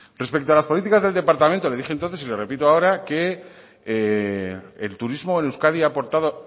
respecto a las políticas del departamento le dije entonces y le repito ahora que el turismo en euskadi